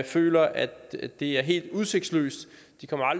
føler at det er helt udsigtsløst